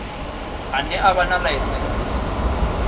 ane a vha na ḽaisentsi